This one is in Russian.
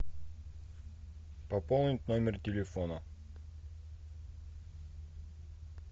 пополнить номер телефона